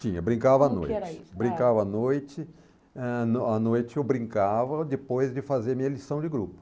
Tinha, brincava à noite, brincava à noite, eh, à noite eu brincava depois de fazer minha lição de grupo.